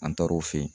An taar'o fɛ yen